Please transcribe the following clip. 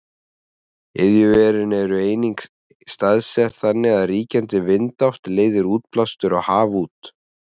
iðjuverin eru einnig staðsett þannig að ríkjandi vindátt leiðir útblástur á haf út